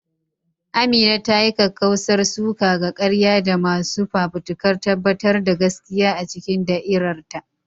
Amina ta yi kakkausar suka ga ƙarya da masu fafutukar tabbatar da gaskiya a cikin da'irar ta.